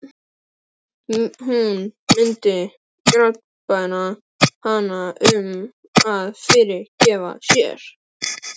Hún myndi grátbæna hann um að fyrirgefa sér.